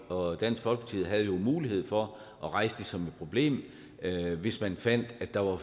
og dansk folkeparti havde jo mulighed for at rejse det som et problem hvis man fandt at der var